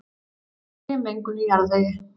Olíumengun í jarðvegi